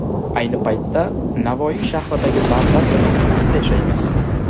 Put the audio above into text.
Ayni paytda Navoiy shahridagi davlat yotoqxonasida yashaymiz.